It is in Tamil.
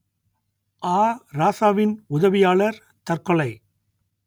ஆ ராசாவின் உதவியாளர் தற்கொலை